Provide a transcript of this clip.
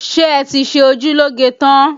Ṣé ẹ ti ṣe ojú lóge tán?